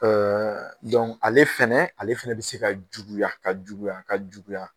Ɛɛ dɔnku ale fana, ale fana bɛ se ka juguya ka juguya ka juguya.